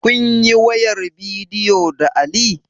Kunyi wayar bidiyo da Ali?